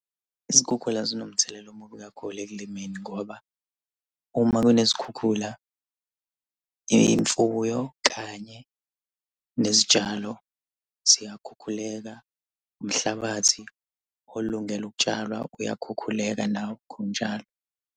Izikhukhula zinomthelela omubi kakhulu ekulimeni ngoba uma kunezikhukhula imfuyo kanye nezitshalo ziyakhukhuleka. Umhlabathi olungele ukutshalwa uyakhukhuleka nawo, khona njalo.